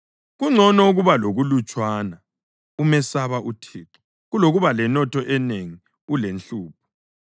Kungcono ukuba lokulutshwana umesaba uThixo kulokuba lenotho enengi ulenhlupho.